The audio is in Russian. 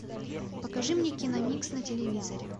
покажи мне киномикс на телевизоре